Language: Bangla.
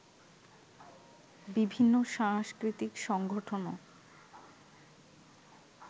বিভিন্ন সাংস্কৃতিক সংগঠনও